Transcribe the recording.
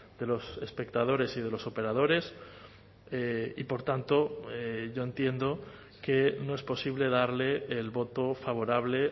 de los espectadores y de los operadores y por tanto yo entiendo que no es posible darle el voto favorable